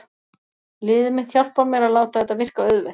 Liðið mitt hjálpar mér að láta þetta virka auðvelt.